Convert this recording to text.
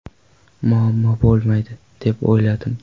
Muammo bo‘lmaydi deb o‘yladim.